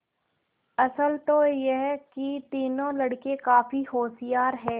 असल तो यह कि तीनों लड़के काफी होशियार हैं